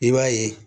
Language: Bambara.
I b'a ye